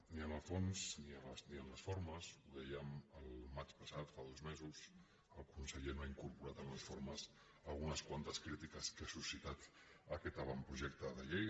ni en el fons ni en les formes ho dèiem al maig passat fa dos mesos el conseller no ha incorporat en les formes algunes quantes crítiques que ha suscitat aquest avantprojecte de llei